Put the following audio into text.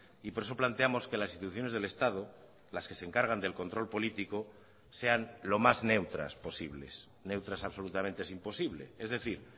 y por eso planteamos que las instituciones del estado las que se encargan del control político sean lo más neutras posibles neutras absolutamente es imposible es decir